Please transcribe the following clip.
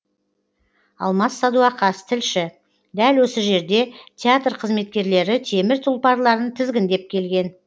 алмас садуақас тілші дәл осы жерде театр қызметкерлері темір тұлпарларын тізгіндеп келген